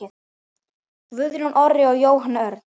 Guðjón Orri og Jóhann Örn.